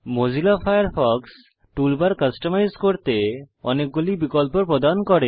Mozilla Firefox toolbar customise করতে অনেকগুলি বিকল্প প্রদান করে